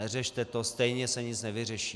Neřešte to, stejně se nic nevyřeší."